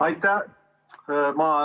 Aitäh!